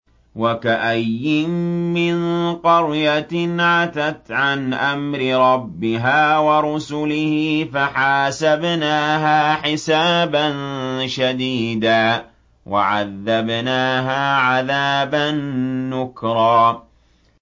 وَكَأَيِّن مِّن قَرْيَةٍ عَتَتْ عَنْ أَمْرِ رَبِّهَا وَرُسُلِهِ فَحَاسَبْنَاهَا حِسَابًا شَدِيدًا وَعَذَّبْنَاهَا عَذَابًا نُّكْرًا